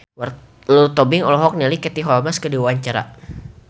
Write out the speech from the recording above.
Lulu Tobing olohok ningali Katie Holmes keur diwawancara